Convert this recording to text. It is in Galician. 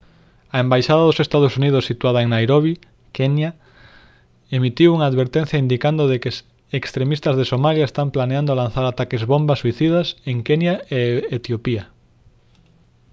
a embaixada dos ee. uu. situada en nairobi kenya emitiu unha advertencia indicando de que «extremistas de somalia» están planeando lanzar ataques bomba suicidas en kenya e etiopía